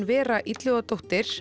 Vera